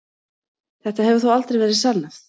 Þetta hefur þó aldrei verið sannað.